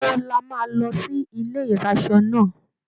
Ìgbà wo la máa lọ sí ilé ìraṣọ náà?